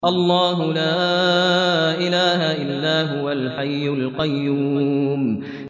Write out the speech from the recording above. اللَّهُ لَا إِلَٰهَ إِلَّا هُوَ الْحَيُّ الْقَيُّومُ